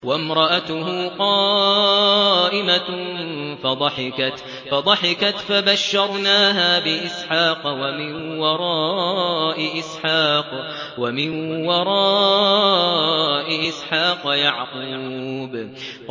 وَامْرَأَتُهُ قَائِمَةٌ فَضَحِكَتْ فَبَشَّرْنَاهَا بِإِسْحَاقَ وَمِن وَرَاءِ إِسْحَاقَ يَعْقُوبَ